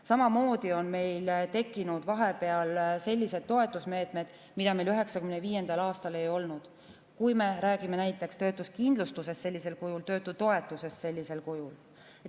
Samamoodi on tekkinud vahepeal sellised toetusmeetmed, mida meil 1995. aastal ei olnud, kui me räägime näiteks töötuskindlustusest, töötutoetusest sellisel kujul.